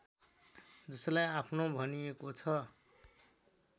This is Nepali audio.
जसलाई आफ्नो भनिएको छ